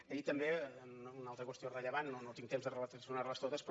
i també una altra qüestió rellevant no tinc temps de relacionar les totes però